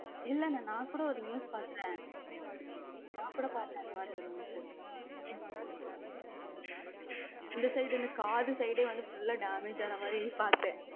இல்ல அண்ணே நான் கூட ஒரு news பார்த்தேன நான் கூட பார்த்தேன் ஒரு news இந்த side காத side full damage ஆன மாதிரி பார்த்தேன்